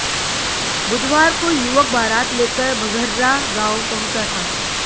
बुधवार को युवक बारात लेकर बघर्रा गांव पहुंचा था